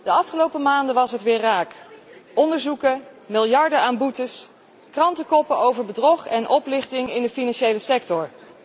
De afgelopen maanden was het weer raak. Onderzoeken, miljarden aan boetes, krantenkoppen over bedrog en oplichting in de financiële sector.